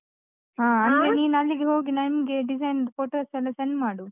ಹಾ, ಅಂದ್ರೆ ನೀನ್ ಅಲ್ಲಿಗೆ ಹೋಗಿ ನಂಗೆ design ದು photos ಎಲ್ಲ send ಮಾಡು.